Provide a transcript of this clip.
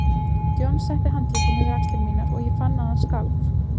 John setti handlegginn yfir axlir mínar og ég fann að hann skalf.